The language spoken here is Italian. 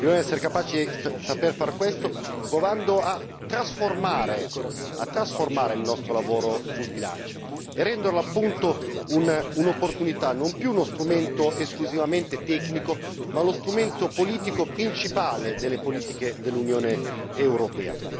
Dobbiamo saper far ciò provando a trasformare il nostro lavoro sul bilancio e renderlo, appunto, un'opportunità non più uno strumento esclusivamente tecnico ma lo strumento politico principale delle politiche dell'Unione europea.